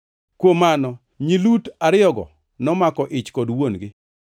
Kuom mano nyi Lut ariyogo nomako ich kod wuon-gi.